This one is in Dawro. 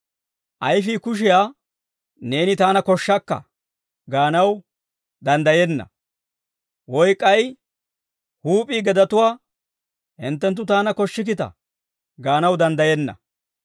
Ayifii kushiyaa, «Neeni taana koshshakka» gaanaw danddayenna. Woy k'ay huup'ii gedatuwaa, «Hinttenttu taana koshshikkita» gaanaw danddayenna.